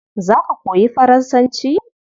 Za ka koyi Faransanci?